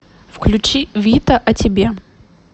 включи вита о тебе